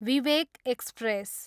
Vivek express